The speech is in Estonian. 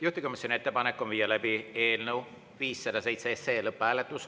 Juhtivkomisjoni ettepanek on viia läbi eelnõu 507 lõpphääletus.